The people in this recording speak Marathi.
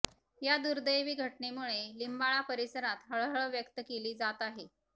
या दुर्दैवी घटनेमुळे लिंबाळा परिसरात हळहळ व्यक्त केली जात आहे